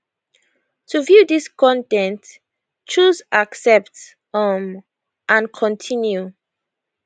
to view dis con ten t choose accept um and continue